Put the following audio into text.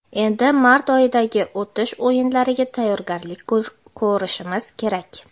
Endi mart oyidagi o‘tish o‘yinlariga tayyorgarlik ko‘rishimiz kerak.